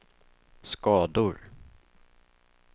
skador